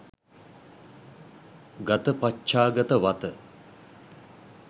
ගතපච්චාගත වත